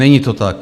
Není to tak.